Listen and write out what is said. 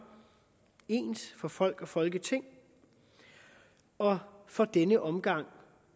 ens for folk og folketing og for denne omgang